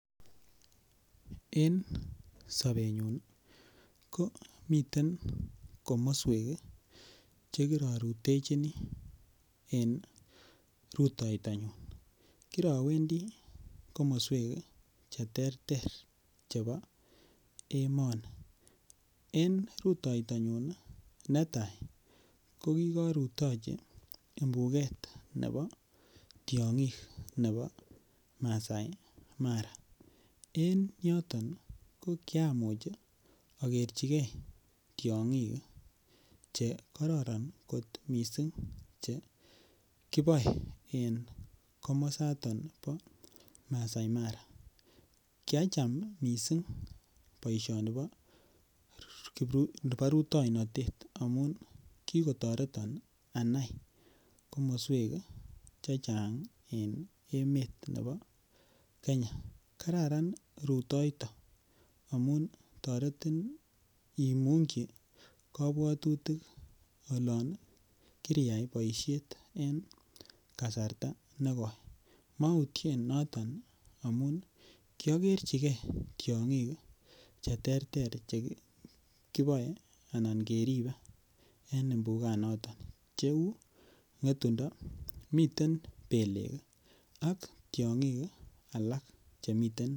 En sobenyun komiten komoswek chekirorutechini en rutoitanyun kirowendi komoswek cheterter chebo emoni en rutoitanyun netai kokikorutochi mpuket nebo tiong'ik ne bo Masai mara en yoton kokiamuch aker chike tiong'ik chekororon kot missing chekiboe en komosaton bo Masai Mara, kiacham missing boisioni bo rutoinotet amun kikotoreton anai komoswek chechang en emet ne bo kenya kararan rutoito amun toretin imungyi kabwatutik olon kiriyai boisiet en kasarta nekoi mautien noton ii amun kiakerchike tiong'ik cheterter chekiboe an keribe en mpukanaton cheu ng'etundo, miten belek ak tiong'ik alak chemiten.